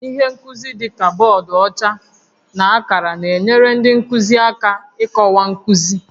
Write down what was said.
Ihe nkuzi dị ka bọọdụ ọcha na akara na-enyere ndị nkuzi aka ịkọwa nkuzi